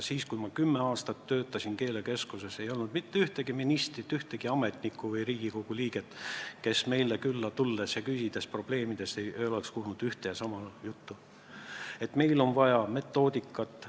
Siis, kui ma kümme aastat töötasin keelekeskuses, ei olnud mitte ühtegi ministrit, ühtegi ametnikku ega Riigikogu liiget, kes poleks meil külas olles ja probleemide kohta küsides kuulnud sedasama juttu, et meil on vaja metoodikat.